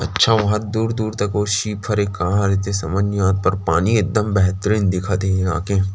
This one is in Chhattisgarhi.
अच्छा ओ ह दूर-दूर तक वो सीप हरे का हरे ते समझ नई आता हे पर पानी एकदम बेहतरीन दिखत हे यहाँ के--